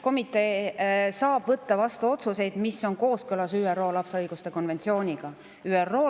Komitee saab vastu võtta otsuseid, mis on kooskõlas ÜRO lapse õiguste konventsiooniga.